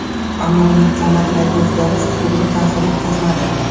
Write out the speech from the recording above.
Ammo uning qomatidagi o‘zgarish uslubiga ta’sir o‘tkazmadi.